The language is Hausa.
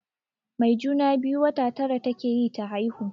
Mai juna-biyu wata tara take yi ta haihu.